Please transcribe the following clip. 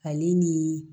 Ale ni